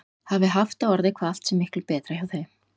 Hafi haft á orði hvað allt sé miklu betra hjá þeim.